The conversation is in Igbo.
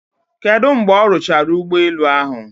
Kedu mgbe ọ rụchara ụgbọ elu ahụ?